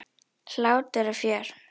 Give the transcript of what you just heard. Hlátur og fjör.